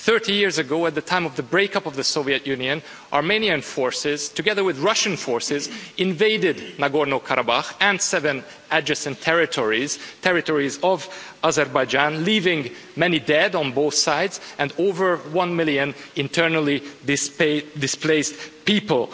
Thirty years ago, at the time of the break-up of the Soviet Union, Armenian forces, together with Russian forces, invaded Nagorno-Karabakh and seven adjacent territories, territories of Azerbaijan, leaving many dead on both sides and over one million internally displaced people.